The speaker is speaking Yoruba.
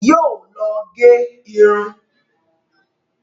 Yóò lọ gẹ irun.